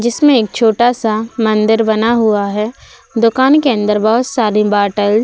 जिसमें एक छोटा सा मंदिर बना हुआ है। दुकान के अंदर बोहोत सारी बाटल्स --